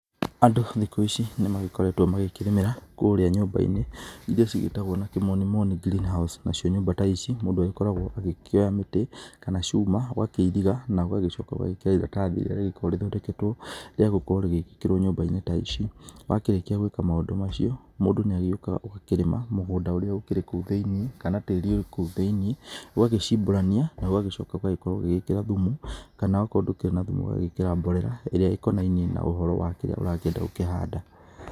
Andũ thikũ ici nĩ magĩkoretwo magĩkĩrĩmĩra kũrĩa nyũmba-inĩ iria cigĩtagwo na kĩmonimoni greenhouse nacio nyũmba ta ici mũndũ agĩkoragwo agĩkĩoya mĩtĩ kana cuma ũgakĩiriga na ũgagĩcoka ũgagĩkĩra iratathi rĩrĩa rĩkoragwo rĩthondeketwo rĩa gũkorwo rĩgĩkĩrwo nyũmba-inĩ ta ici. Wakĩrĩkia gwĩka maũndũ macio, mũndũ nĩagĩũkaga ũgakĩrĩma mũgũnda ũrĩa ũkĩrĩ kũu thĩinĩ kana tĩri wĩ kũu thĩinĩ ugagĩcimbũrania na ũgagĩcoka ũgagĩkorwo ugĩĩkĩra thumu kana oko ndũkĩrĩ na thumu ũgagĩkĩra mborera ĩrĩa ĩkonainie na ũhoro wa kĩrĩa ũrakĩenda gũkĩhanda.